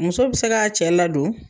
Muso bɛ se ka cɛ la don.